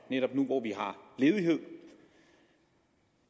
netop nu hvor vi har ledighed